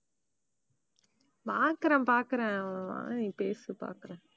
பாக்கறேன் பாக்கறேன் வா நீ பேசு பாக்கறேன்.